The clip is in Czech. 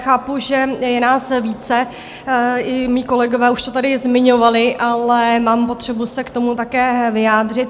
Chápu, že je nás více, i mí kolegové už to tady zmiňovali, ale mám potřebu se k tomu také vyjádřit.